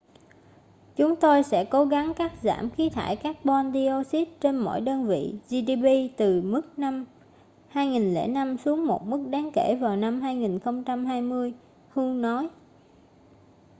"chúng tôi sẽ cố gắng cắt giảm khí thải các-bon đioxit trên mỗi đơn vị gdp từ mức năm 2005 xuống một mức đáng kể vào năm 2020 hu nói.